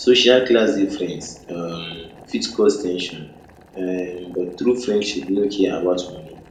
social class difference um fit cause ten sion um but true friendship no care about money